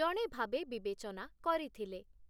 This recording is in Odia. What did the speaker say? ଜଣେ ଭାବେ ବିବେଚ‌ନା କରିଥିଲେ ।